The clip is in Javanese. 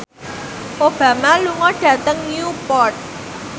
Obama lunga dhateng Newport